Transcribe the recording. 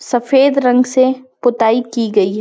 सफ़ेद रंग से पोताई की गई--